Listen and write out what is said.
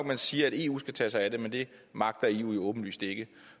man siger at eu skal tage sig af det men det magter eu jo åbenlyst ikke